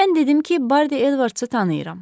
Mən dedim ki, Bardi Edvardsı tanıyıram.